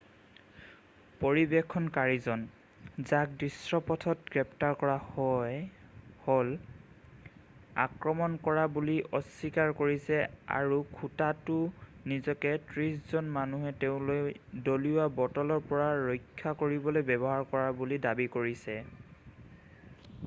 পৰিৱেশনকাৰীজন যাক দৃশ্যপটত গ্ৰেপ্তাৰ কৰা হ'ল আক্ৰমণ কৰা বুলি অস্বীকাৰ কৰিছে আৰু খুটাটো নিজকে ত্ৰিশজন মানুহে তেওঁলৈ দলিওৱা বটলৰ পৰা ৰক্ষা কৰিবলৈ ব্যৱহাৰ কৰা বুলি দাবী কৰিছে